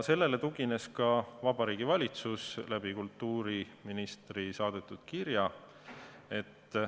Sellele tugines ka Vabariigi Valitsus kultuuriministri saadetud kirjas.